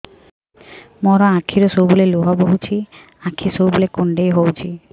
ମୋର ଆଖିରୁ ସବୁବେଳେ ଲୁହ ବୋହୁଛି ଆଖି ସବୁବେଳେ କୁଣ୍ଡେଇ ହଉଚି